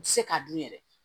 N tɛ se k'a dun yɛrɛ